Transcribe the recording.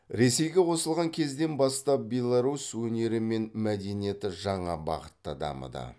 ресейге қосылған кезден бастап беларусь өнері мен мәдениеті жаңа бағытта дамыды